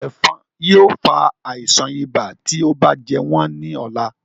Ẹ̀fọ̀n yóò fa àisàn ibà tí ó bá jẹ wọ́n ní ọ̀la